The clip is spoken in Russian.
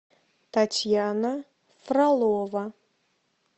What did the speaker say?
татьяна фролова